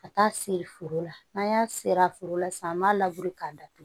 Ka taa se foro la n'an y'a seri a foro la sisan an b'a labure k'a datugu